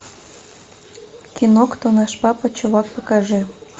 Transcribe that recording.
кино кто наш папа чувак покажи